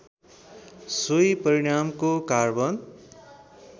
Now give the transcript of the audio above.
सोही परिणामको कार्बन